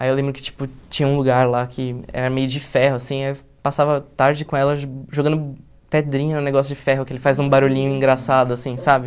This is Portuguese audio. Aí eu lembro que, tipo, tinha um lugar lá que era meio de ferro, assim, eu passava tarde com ela jogando pedrinha no negócio de ferro, que ele faz um barulhinho engraçado, assim, sabe?